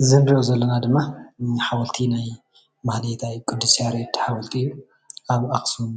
እዚ እንሪኦ ዘለና ድማ ሓወልቲ ናይ ማህሌታይ ቅዱስ ያሬድ ሓወልቲ እዩ አብ አክሱም